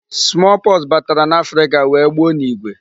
Small pox batara n'Africa wee gbuo n'igwe.